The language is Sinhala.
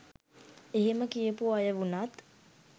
එහෙම කියපු අය වුණත්